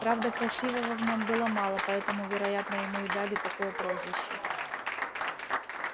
правда красивого в нём было мало поэтому вероятно ему и дали такое прозвище